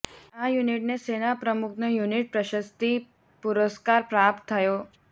આ યૂનિટને સેના પ્રમુખનો યૂનિટ પ્રશસ્તિ પુરસ્કાર પ્રાપ્ત થયો